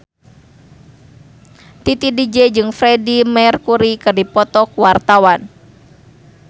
Titi DJ jeung Freedie Mercury keur dipoto ku wartawan